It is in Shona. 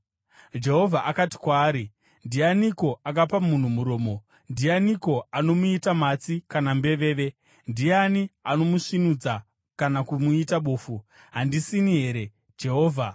Jehovha akati kwaari, “Ndianiko akapa munhu muromo? Ndianiko anomuita matsi kana mbeveve? Ndiani anomusvinudza kana kumuita bofu? Handisini here, Jehovha?